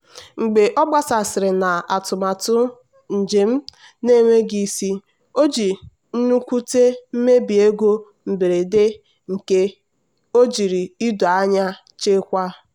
mgbe ọ gbasasịrị na atụmatụ njem na-enweghị isi o ji nwute mebie ego mberede nke ojiri ido anya chekwaa.